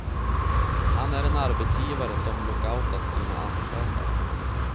Han är en arbetsgivare som lockoutat sina anställda.